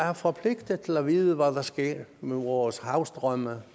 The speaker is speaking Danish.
er forpligtet til at vide hvad der sker med vores havstrømme